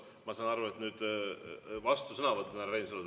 Ma saan aru, et nüüd on vastusõnavõtt teil, härra Reinsalu.